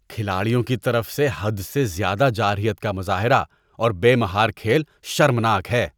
کھلاڑیوں کی طرف سے حد سے زیادہ جارحیت کا مظاہرہ اور بے مہار کھیل شرمناک ہے